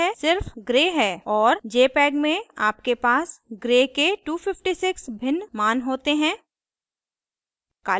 और jpeg में आपके पास gray के 256 भिन्न मान होते हैं